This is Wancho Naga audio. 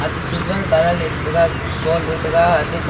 ate silver colour ye chitaiga gold ye chitaiga ate kow--